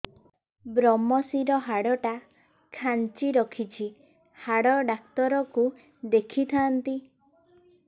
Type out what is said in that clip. ଵ୍ରମଶିର ହାଡ଼ ଟା ଖାନ୍ଚି ରଖିଛି ହାଡ଼ ଡାକ୍ତର କୁ ଦେଖିଥାନ୍ତି